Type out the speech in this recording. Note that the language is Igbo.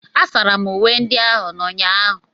Asara m uwe ndị ahu n'ụnyaahụ.